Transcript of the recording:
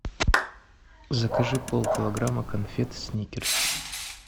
закажи пол килограмма конфет сникерс